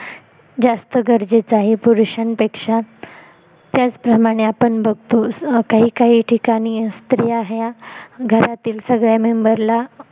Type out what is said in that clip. जास्त गरजेचं आहे पुरुष्यांपेक्षा त्याचप्रमाणे आपण बघतो काही काही ठिकाणी स्त्रिया ह्या घरातील सगळ्या member ला